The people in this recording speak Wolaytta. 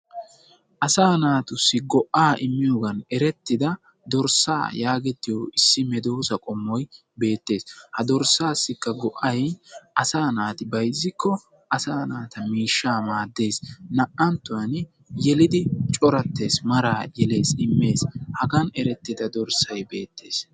Asaa naatussi go"aa immiyoogan erettida dorssaa yaagettiyo issi medoosa qommoy beettes. Ha dorssaassikka go"ay asaa naati bayizzikko asaa naata miishaa maadees. Naa"antuwaani yelidi corattees, maraa yelees, immees, hagan erettida dorssay beettees.